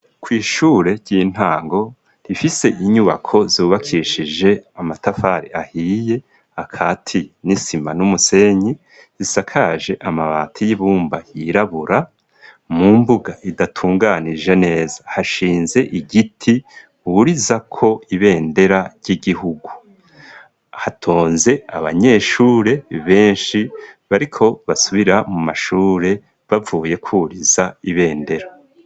Kw'ishure ry'intango rifise inyubako zubakishije amatafari ahiye, akatiye n'isima n'umusenyi, risakaje amabati y'ibumba yirabura, mu mbuga idatunganije neza, hashinze igiti burizako ibendera ry'igihugu. Hatonze abanyeshure benshi bariko basubira mu mashure bavuye kwuriza ibendera.